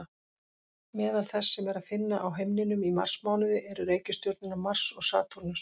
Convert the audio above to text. Meðal þess sem er að finna á himninum í marsmánuði eru reikistjörnurnar Mars og Satúrnus.